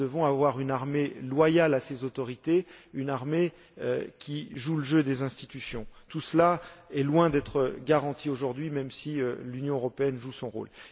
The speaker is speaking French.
Nous devons avoir une armée loyale envers ses autorités, une armée qui joue le jeu des institutions. Tout cela est loin d'être garanti aujourd'hui, même si l'Union européenne joue son rôle.